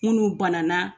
Munnu banana